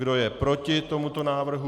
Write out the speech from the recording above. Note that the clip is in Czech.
Kdo je proti tomuto návrhu?